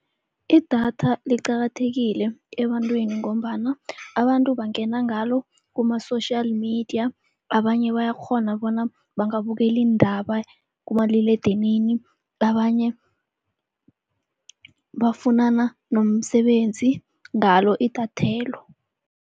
Idatha liqakathekile ebantwini ngombana abantu bangena ngalo kuma-social media, abanye bayakghona bona bangabukela iindaba kumaliledinini. Abanye bafunana nomsebenzi ngalo idathelo.